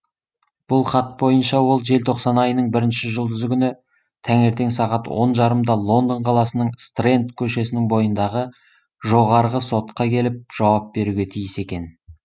бұл хат бойынша ол желтоқсан айының бірінші жұлдызы күні таңертең сағат он жарымда лондон қаласының стрэнд көшесінің бойындағы жоғарғы сотқа келіп жауап беруге тиіс екен